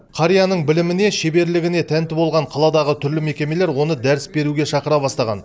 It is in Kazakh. қарияның біліміне шеберлігіне тәнті болған қаладағы түрлі мекемелер оны дәріс беруге шақыра бастаған